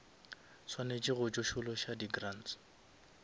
swanetše go tsošološa di grants